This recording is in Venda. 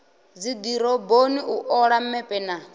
dzidoroboni u ola mepe na